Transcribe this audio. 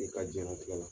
I ka jiyɛn latigɛ la